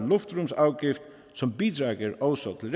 luftfartsafgift som bidrager også til